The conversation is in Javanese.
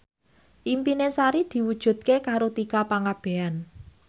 impine Sari diwujudke karo Tika Pangabean